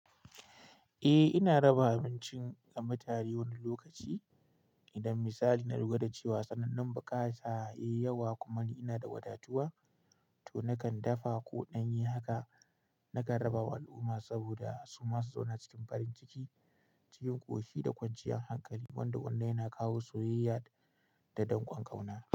Eh, ina raba abincin ga mutane wani lokaci. Idan misali na lura da cewa tsananin buƙata yai yawa kuma ni inada wada tuwa to nakan dafa ko ɗanye haka nakan raba wa al'umma saboda su masu zauna cikin farin ciki cikin ƙoshi da kwanciyar hankali wanda wannan yana kawo soyayya da don ƙon ƙauna.